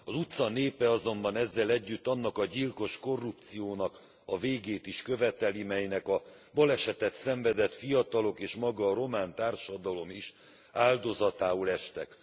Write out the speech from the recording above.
Az utca népe azonban ezzel együtt annak a gyilkos korrupciónak a végét is követeli, melynek a balesetet szenvedett fiatalok és maga a román társadalom és áldozatául estek.